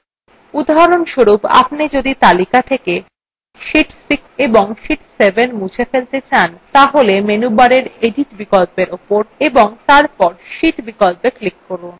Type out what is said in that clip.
উদাহরণস্বরূপ যদি আপনি তালিকা থেকে sheet 6 ও sheet 7 মুছে ফেলতে চান তাহলে menu bar edit বিকল্পর উপর এবং তারপর sheet বিকল্পত়ে click করুন